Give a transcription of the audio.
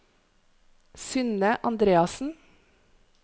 Synne Andreassen